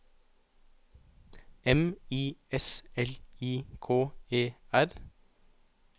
M I S L I K E R